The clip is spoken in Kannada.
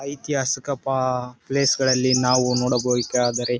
ಐತಿಹಾಸಿಕ ಪ ಪ್ಲೇಸ್ ಗಳಲ್ಲಿ ನಾವು ನೋಡಬಹುದುದಾದರೆ.